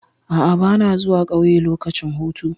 A'a, ba na zuwa ƙauye lokacin hutu.